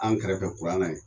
An kɛrɛfɛ kuran na ye